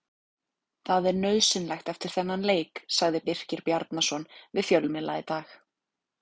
Það er nauðsynlegt eftir þennan leik, sagði Birkir Bjarnason við fjölmiðla í dag.